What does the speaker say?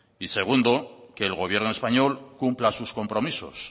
y segundo que el gobierno español cumpla sus compromisos